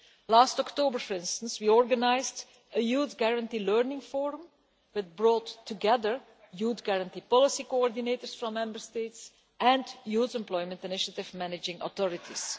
Last October, for instance, we organised a Youth Guarantee learning forum that brought together Youth Guarantee policy coordinators from Member States and Youth Employment Initiative managing authorities.